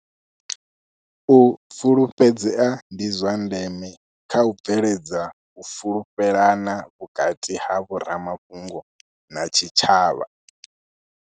U fulufhedzea ndi zwa ndeme kha u bveledza u fulufhelana vhukati ha vho ramafhungo na tshitshavha.